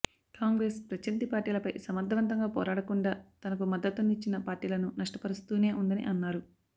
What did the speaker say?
కాంగ్రెస్ ప్రత్యర్థి పార్టీలపై సమర్థవంతంగా పోరాడకుండా తనకు మద్దతునిచ్చిన పార్టీలను నష్టపరుస్తూనే ఉందని అన్నారు